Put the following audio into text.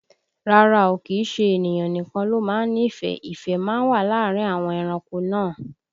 Rárá o, kìí ṣe ènìyàn nìkan ló má ń nífẹ̀ẹ́, ìfẹ́ má ń wà láàrin àwọn ẹranko náà